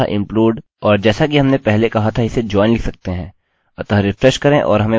तो explode तथा implode और जैसा कि हमने पहले कहा था इसे join लिख सकते हैं